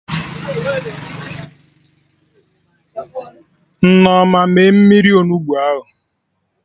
Nneoma mee mmiri Onugbu ahụ